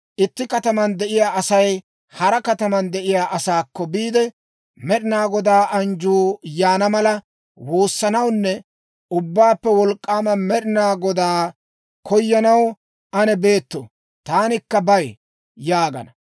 Itti kataman de'iyaa Asay hara kataman de'iyaa asaakko biide, «Med'inaa Goda anjjuu yaana mala woossanawunne Ubbaappe Wolk'k'aama Med'inaa Godaa koyanaw ane beeto; taanikka bay» yaagana.